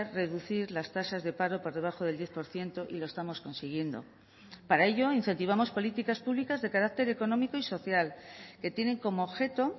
reducir las tasas de paro por debajo del diez por ciento y lo estamos consiguiendo para ello incentivamos políticas públicas de carácter económico y social que tienen como objeto